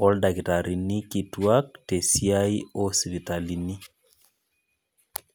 ooldakitarini kituak te esiai o sipitalini.